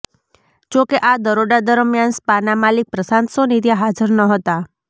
જોકે આ દરોડા દરમિયાન સ્પાના માલિક પ્રશાંત સોની ત્યાં હાજર ન હતા